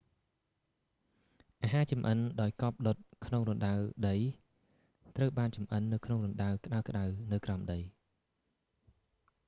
អាហារចម្អិនដោយកប់ដុតក្នុងរណ្ដៅដី ត្រូវបានចម្អិននៅក្នុងរណ្ដៅក្តៅៗនៅក្រោមដី